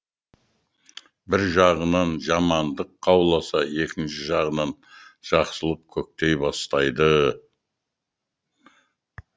бір жағынан жамандық қауласа екінші жағынан жақсылық көктей бастайды